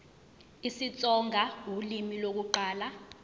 isitsonga ulimi lokuqala